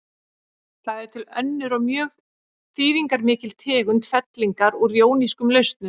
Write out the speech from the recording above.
Það er til önnur og mjög þýðingarmikil tegund fellingar úr jónískum lausnum.